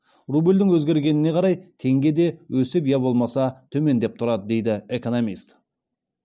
рубльдің өзгергеніне қарай теңге де өсіп я болмаса төмендеп тұрады дейді экономист